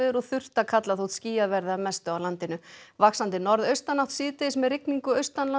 og þurrt að kalla þótt skýjað verði að mestu á landinu vaxandi norðaustanátt síðdegis með rigningu